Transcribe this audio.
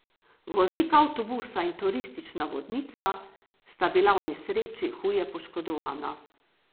Voznik avtobusa in turistična vodnica sta bila v nesreči huje poškodovana.